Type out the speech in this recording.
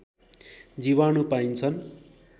जीवाणु पाइन्छन्